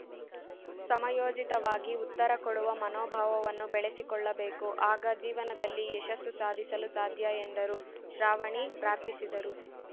ಸಮಯೋಚಿತವಾಗಿ ಉತ್ತರ ಕೊಡುವ ಮನೋಭಾವವನ್ನು ಬೆಳೆಸಿಕೊಳ್ಳಬೇಕು ಆಗ ಜೀವನದಲ್ಲಿ ಯಶಸ್ಸು ಸಾಧಿಸಲು ಸಾಧ್ಯ ಎಂದರು ಶ್ರಾವಣಿ ಪ್ರಾರ್ಥಿಸಿದರು